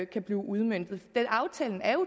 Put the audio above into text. kan blive udmøntet men aftalen